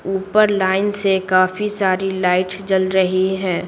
ऊपर लाइन से काफी सारी लाइट जल रही है।